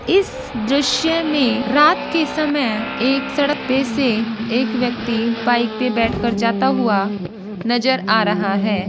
इस द्रश्य मे रात के समय एक सड़क पे से एक व्यक्ति बाइक पे बैठ कर जाता हुआ नज़र आ रहा है ।